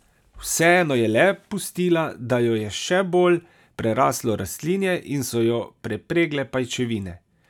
Vseeno je le pustila, da jo je še bolj preraslo rastlinje in so jo prepregle pajčevine.